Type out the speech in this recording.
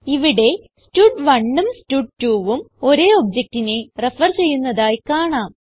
ഇവിടെ stud1ഉം സ്റ്റഡ്2 ഉം ഒരേ objectനെ റെഫർ ചെയ്യുന്നതായി കാണാം